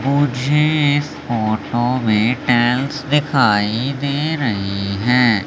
मुझे इस फोटो में टाईल्स दिखाई दे रही हैं।